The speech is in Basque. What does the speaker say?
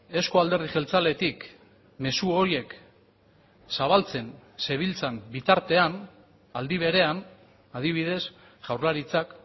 euzko alderdi jeltzaletik mezu horiek zabaltzen zebiltzan bitartean aldi berean adibidez jaurlaritzak